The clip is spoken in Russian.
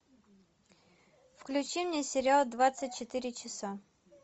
включи мне сериал двадцать четыре часа